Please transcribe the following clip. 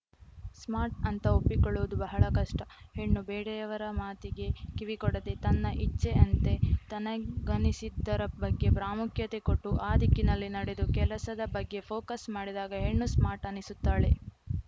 smart ಅಂತ ಒಪ್ಪಿಕೊಳ್ಳುವುದು ಬಹಳ ಕಷ್ಟ ಹೆಣ್ಣು ಬೇಡೆಯವರ ಮಾತಿಗೆ ಕಿವಿಕೊಡದೆ ತನ್ನ ಇಚ್ಛೆ ಅಂತೆ ತನಿಗನಿಸಿದ್ದರ ಬಗ್ಗೆ ಪ್ರಾಮುಖ್ಯತೆ ಕೊಟ್ಟು ಆ ದಿಕ್ಕಿನಲ್ಲಿ ನಡೆದು ಕೆಲಸದ ಬಗ್ಗೆ ಫೋಕಸ್‌ ಮಾಡಿದಾಗ ಹೆಣ್ಣು ಸ್ಮಾರ್ಟ್‌ ಅನಿಸುತ್ತಾಳೆ